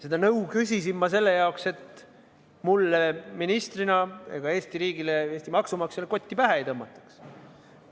Seda nõu küsisin ma selle jaoks, et mulle ministrina ega Eesti riigile, Eesti maksumaksjale kotti pähe ei tõmmataks.